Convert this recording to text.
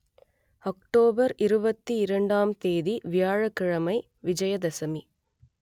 October இருபத்தி இரண்டாம் தேதி வியாழக் கிழமை விஜயதசமி